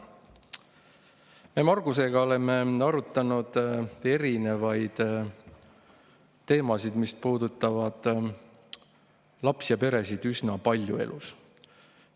Me Margusega oleme erinevaid teemasid, mis puudutavad lapsi ja peresid, elus üsna palju arutanud.